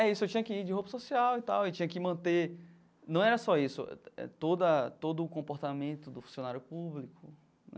É isso, eu tinha que ir de roupa social e tal, e tinha que manter, não era só isso, todo a todo o comportamento do funcionário público.